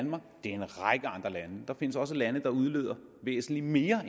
en række andre lande der findes også lande der udleder væsentlig mere